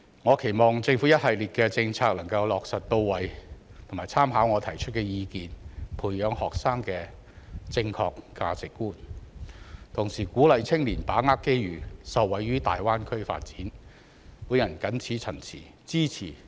我期望政府能把一系列的政策落實到位，並參考我提出的意見，培養學生的正確價值觀；同時鼓勵年輕人把握機遇，從大灣區發展中受惠。